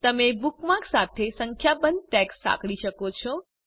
તમે બુકમાર્ક સાથે સંખ્યાબંધ ટૅગ્સ સાંકળી શકો છો